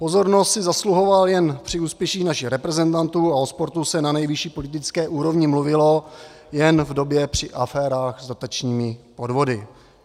Pozornost si zasluhoval jen při úspěších našich reprezentantů a o sportu se na nejvyšší politické úrovni mluvilo jen v době při aférách s dotačními podvody.